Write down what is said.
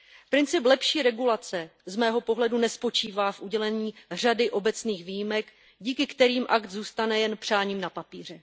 Princip lepší regulace z mého pohledu nespočívá v udělení řady obecných výjimek, díky kterým akt zůstane jen přáním na papíře.